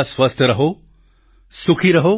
તમે બધા સ્વસ્થ રહો સુખી રહો